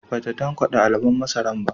Ba ta tankade alubon masaran ba